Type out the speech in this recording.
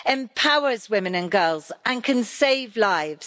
empowers women and girls and can save lives.